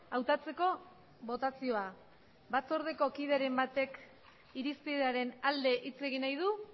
hautatzeko botazioa batzordeko kidearen batek irizpidearen alde hitz egin nahi du